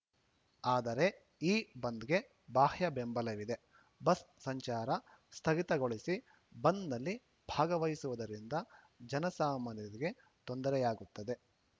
ಆದರೆ ಈ ಬಂದ್‌ಗೆ ಬಾಹ್ಯ ಬೆಂಬಲವಿದೆ ಬಸ್‌ ಸಂಚಾರ ಸ್ಥಗಿತಗೊಳಿಸಿ ಬಂದ್‌ನಲ್ಲಿ ಭಾಗವಹಿಸುವುದರಿಂದ ಜನಸಾಮಾನ್ಯರಿಗೆ ತೊಂದರೆಯಾಗುತ್ತದೆ